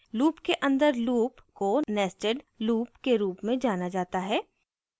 loop के अंदर loop को nested loop के loop में जाना जाता है